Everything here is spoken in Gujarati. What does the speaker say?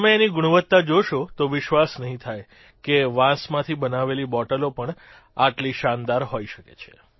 તમે એની ગુણવત્તા જોશો તો વિશ્વાસ નહીં થાય કે વાંસમાંથી બનાવેલી બોટલો પણ આટલી શાનદાર હોઇ શકે છે